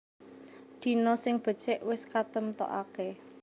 Dina sing becik wis katemtokaké